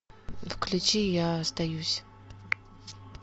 включи я остаюсь